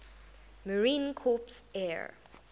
marine corps air